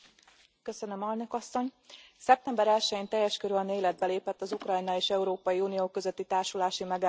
Elnök Asszony, szeptember 1 jén teljes körűen életbe lépett az Ukrajna és Európai Unió közötti társulási megállapodás.